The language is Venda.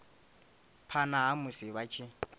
phana ha musi vha tshi